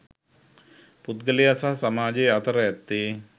පුද්ගලයා සහ සමාජය අතර ඇත්තේ